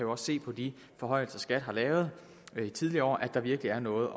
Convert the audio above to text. også se på de forhøjelser skat har lavet i tidligere år at der virkelig er noget